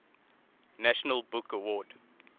national book award